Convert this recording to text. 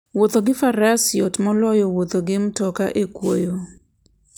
Wuotho gi faras yot moloyo wuotho gi mtoka e kwoyo.